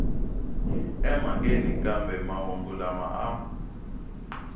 emhakeni kambe mahungu lama a